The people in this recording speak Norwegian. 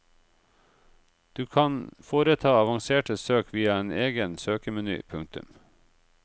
Du kan foreta avanserte søk via en egen søkemeny. punktum